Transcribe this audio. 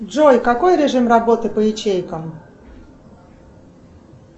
джой какой режим работы по ячейкам